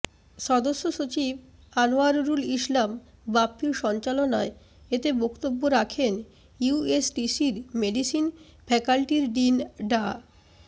সদস্য সচিব আনোয়ারুল ইসলাম বাপ্পীর সঞ্চালনায় এতে বক্তব্য রাখেন ইউএসটিসির মেডিসিন ফ্যাকাল্টির ডিন ডা